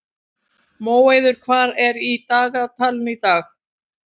Móeiður, hvað er í dagatalinu í dag?